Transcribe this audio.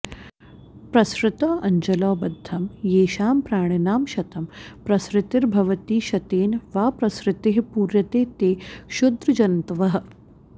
प्सृतौ अञ्जलौ बद्धं येषां प्राणिनां शतं प्रसृतिर्भवति शतेन वा प्रसृतिः पूर्यते ते क्षुद्रजन्तवः